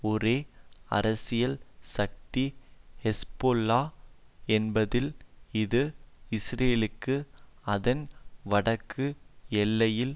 ஒரே அரசியல் சக்தி ஹெஸ்போல்லா என்பதால் இது இஸ்ரேலுக்கு அதன் வடக்கு எல்லையில்